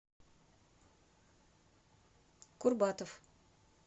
курбатов